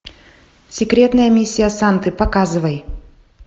секретная миссия санты показывай